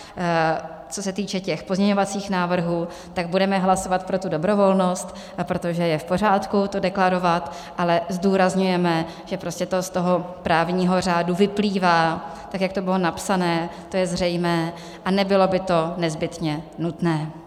Co se týče těch pozměňovacích návrhů, tak budeme hlasovat pro tu dobrovolnost, protože je v pořádku to deklarovat, ale zdůrazňujeme, že prostě to z toho právního řádu vyplývá, tak jak to bylo napsané, to je zřejmé a nebylo by to nezbytně nutné.